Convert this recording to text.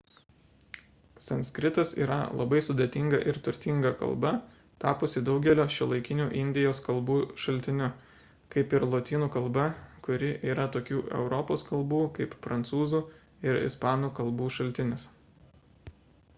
sanskritas yra labai sudėtinga ir turtinga kalba tapusi daugelio šiuolaikinių indijos kalbų šaltiniu kaip ir lotynų kalba kuri yra tokių europos kalbų kaip prancūzų ir ispanų k. šaltinis